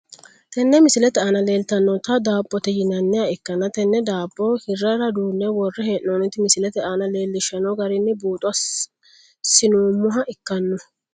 Tenne misilete aana leeltanota daabote yinaniha ikana tene daabo hirara duune wore heenonita misilete aana leelishano garini buuxo sinoomoha ikano.